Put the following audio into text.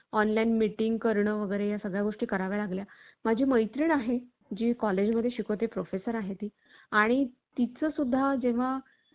online meeting करणं वगैरे या सगळ्या गोष्टी कराव्या लागल्या. माझी मैत्रीण आहे. जी college मध्ये शिकवते professor आहे ती आणि तिचं सुद्धा जेव्हा.